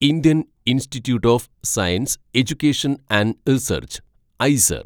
Indian institute of science education and research (IISER)